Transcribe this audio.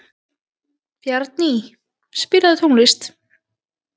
Bjarný, spilaðu tónlist.